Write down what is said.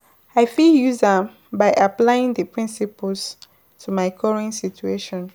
i fit use am by applying di principles to my current situation.